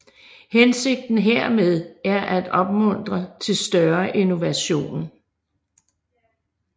Hensigten hermed er at opmuntre til større innovation